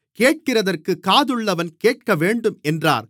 கேட்கிறதற்குக் காதுள்ளவன் கேட்கவேண்டும் என்றார்